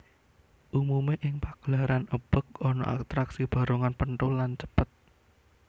Umumé ing pagelaran ebeg ana atraksi barongan penthul lan cepet